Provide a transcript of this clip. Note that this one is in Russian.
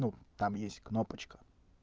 ну там есть кнопочка